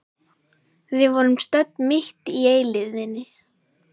Við vorum stödd mitt í eilífðinni.